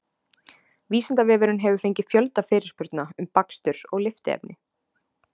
Vísindavefurinn hefur fengið fjölda fyrirspurna um bakstur og lyftiefni.